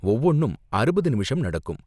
ஒவ்வொன்னும் அறுபது நிமிஷம் நடக்கும்.